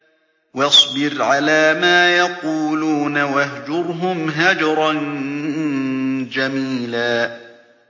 وَاصْبِرْ عَلَىٰ مَا يَقُولُونَ وَاهْجُرْهُمْ هَجْرًا جَمِيلًا